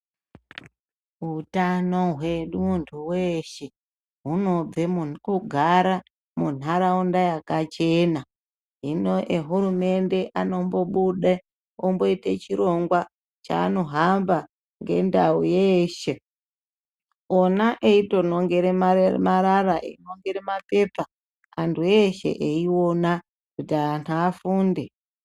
Hutano hwemuntu weshe hunobve mukugara munharaunda yakachena hino ehurumende anombobuda oite chirongwa chaanohamba ngendau yeshe ona eitonongere marara einongere mapepa antu eshe eiona kuti antu afunde.